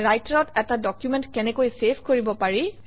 ৰাইটাৰত এটা ডকুমেণ্ট কেনেকৈ চেভ কৰিব পাৰি